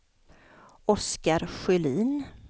Oskar Sjölin